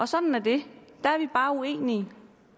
sådan er det der er vi bare uenige